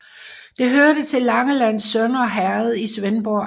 Det hørte til Langelands Sønder Herred i Svendborg Amt